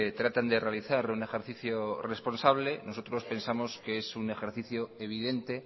tratan de realizar un ejercicio responsable nosotros pensamos que es un ejercicio evidente